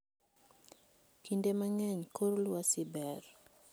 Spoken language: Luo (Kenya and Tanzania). Kinde mang'eny, kor lwasi ber.